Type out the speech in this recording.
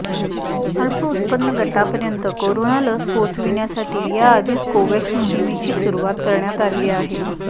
अल्प उत्पन्न गटापर्यंत कोरोना लस पोहोचविण्यासाठी याआधीच कोव्हॅक्स मोहिमेची सुरुवात करण्यात आली आहे